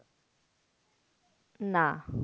না